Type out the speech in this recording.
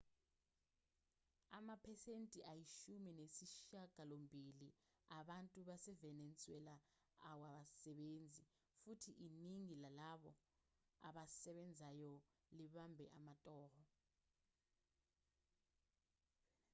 amaphesenti ayishumi nesishiyagalombili abantu basevenezuela awasebenzi futhi iningi lalabo abasebenzayo libambe amatoho